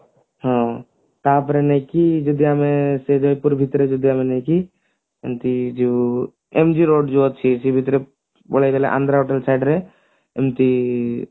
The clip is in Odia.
ହଁ ତାପରେ ନୁହେଁ କି ଯଦି ଆମେ ସେଇ ଜୟପୁର ଭିତରେ ଯଦିଆମେ ନୁହଁ କି ଏମତି ଯୋଉ MG road ଯୋଉ ଅଛି ସେ ଭିତରେ ପଳେଇଗଲେ ଆନ୍ଧ୍ରା side ରେ ଏମତି